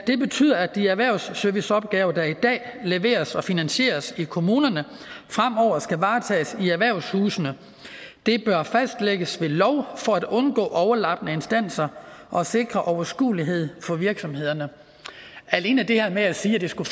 det betyder at de erhvervsserviceopgaver der i dag leveres og finansieres i kommunerne fremover skal varetages i erhvervshusene det bør fastlægges ved lov for at undgå overlappende instanser og sikre overskuelighed for virksomhederne alene det her med at sige at det skulle